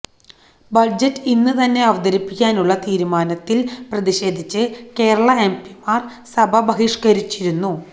budget ഇന്ന് തന്നെ അവതരിപ്പിക്കാനുള്ള തീരുമാനത്തില് പ്രതിഷേധിച്ച് കേരള എംപിമാര് സഭ ബഹിഷ്കരിച്ചിരുന്നു